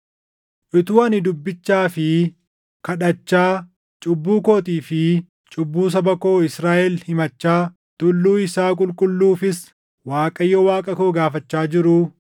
Utuu ani dubbichaa fi kadhachaa, cubbuu kootii fi cubbuu saba koo Israaʼel himachaa, tulluu isaa qulqulluufis Waaqayyo Waaqa koo gaafachaa jiruu,